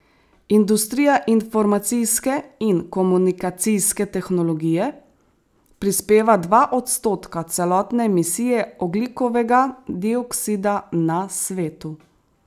Industrija informacijske in komunikacijske tehnologije prispeva dva odstotka celotne emisije ogljikovega dioksida na svetu.